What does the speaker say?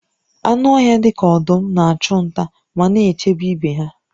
Anụ ọhịa dị ka ọdụm na-achụ nta ma na-echebe ibe ha